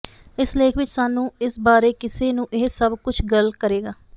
ਇਸ ਲੇਖ ਵਿਚ ਸਾਨੂੰ ਇਸ ਬਾਰੇ ਕਿਸ ਨੂੰ ਇਹ ਸਭ ਕੁਝ ਗੱਲ ਕਰੇਗਾ